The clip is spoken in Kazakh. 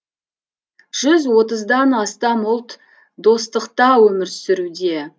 жүз отыздан астам ұлт достықта өмір сүруде